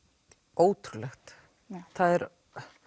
ótrúlegt það er